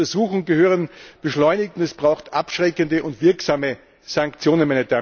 Die Untersuchungen gehören beschleunigt und es braucht abschreckende und wirksame Sanktionen.